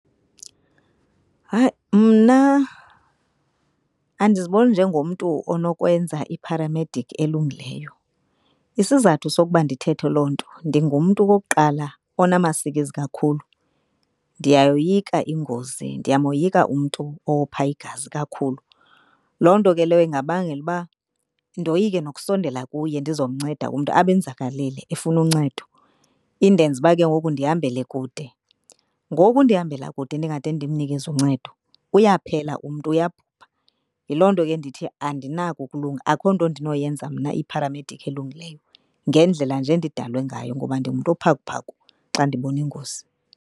Hayi, mna andiziboni njengomntu onokwenza ipharamedikhi elungileyo. Isizathu sokuba ndithethe loo nto ndingumntu okokuqala onamasikizi kakhulu, ndiyayoyika ingozi, ndiyamoyika umntu owopha igazi kakhulu. Loo nto ke leyo ingabangela uba ndoyike nokusondela kuye ndizomnceda umntu abe enzakalile efuna uncedo. Indenze uba ke ngoku ndihambele kude, ngoku ndihambela kude ndingade ndimnikeze uncedo uyaphela umntu uyabhubha. Yiloo nto ke ndithi andinako ukulunga akukho nto ndinoyenza mna ipharamediki elungileyo ngendlela nje endidalwe ngayo ngoba ndingumntu ophakuphaku xa ndibona ingozi.